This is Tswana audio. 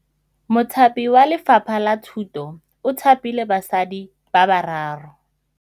Mothapi wa Lefapha la Thutô o thapile basadi ba ba raro.